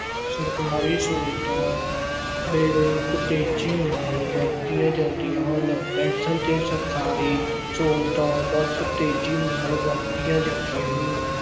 ਸਰਕਾਰੀ ਸਹੂਲਤਾਂ ਬੇਰੋਕ ਤੇਜ਼ੀ ਨਾਲ ਵਧਦੀਆਂ ਜਾਂਦੀਆਂ ਹਨ। ਪੈੱਨਸ਼ਨ ਤੇ ਸਰਕਾਰੀ ਸਹੂਲਤਾਂ ਬਰਕ ਤੇਜ਼ੀ ਨਾਲ ਵਧਦੀਆਂ ਜਾਂਦੀਆਂ ਹਨ।